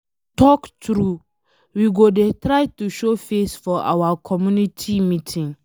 You talk true. We go dey try to show face for our community meeting.